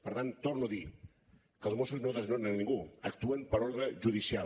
per tant torno a dir que els mossos no desnonen a ningú actuen per ordre judicial